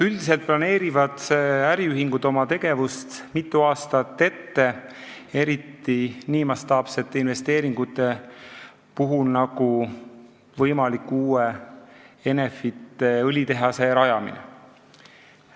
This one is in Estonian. " Üldiselt planeerivad äriühingud oma tegevust mitu aastat ette, eriti nii mastaapsete investeeringute puhul nagu võimaliku uue Enefiti õlitehase rajamine.